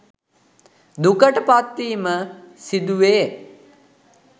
දුකට පත්වීම සිදුවේ.